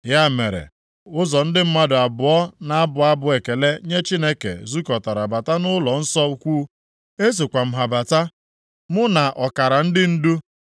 Ya mere, ụzọ ndị mmadụ abụọ na-abụ abụ ekele nye Chineke zukọtara bata nʼụlọnsọ ukwu. Esokwa m ha bata, mụ na ọkara ndị ndu,